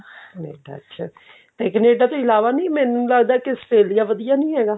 Canada ਅੱਛਾ ਤੇ Canada ਤੋਂ ਇਲਾਵਾ ਨੀ ਮੈਨੂੰ ਲੱਗਦਾ ਕਿ Australia ਵਧੀਆ ਨੀ ਹੈਗਾ